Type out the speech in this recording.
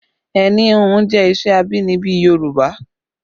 Ẹni híhun jẹ́ iṣẹ́ abínibí Yorùbá